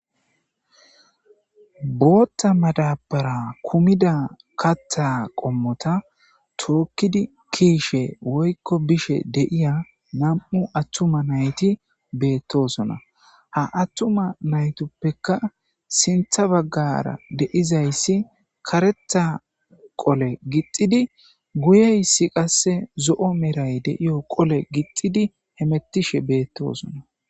Bootta madabara kumida katta qommota tookkidi kiishe woykko bishe deiya nam'u attuma nayti beettosona ha attuma naytoppeka sintha baggara deizayssi karetha qole gixxidi guyeyssi qasse zo'o meray deiyo qole gixxidi hemettishe beettosona.